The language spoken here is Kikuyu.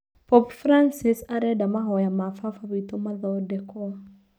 Popu Brancis arenda mahoya ma baba witũmathondekwo.